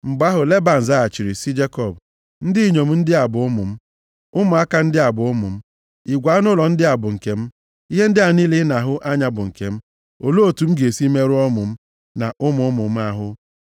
Mgbe ahụ Leban zaghachiri sị Jekọb, “Ndị inyom ndị a bụ ụmụ m. Ụmụaka ndị a bụ ụmụ m. Igwe anụ ụlọ ndị a bụ nke m. Ihe ndị a niile ị na-ahụ anya bụ nke m. Olee otu m ga-esi merụọ ụmụ m, na ụmụ ụmụ m ahụ?